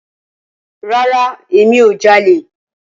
Rara, Emi ko jale.